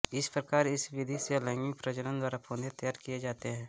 इस प्रकार इस विधि से अलैंगिक प्रजनन द्वारा पौधे तैयार किये जाते हैं